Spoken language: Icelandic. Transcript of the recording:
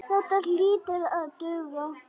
Þetta hlýtur að duga.